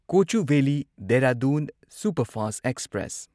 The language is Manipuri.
Kochuveli Dehradun superfast express